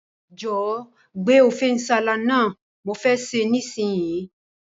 Jòwó gbé Ofe nsala náà, mo fe se nísinyí